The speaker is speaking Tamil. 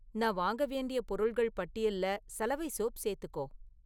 நான் வாங்க வேண்டிய பொருள்கள் பட்டியல்ல சலவை சோப் சேர்த்துக்கோ